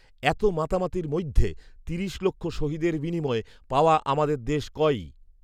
এত মাতামাতির মইধ্যে তিরিশ লক্ষ শহীদের বিনিময়ে পাওয়া আমাদের দেশ কই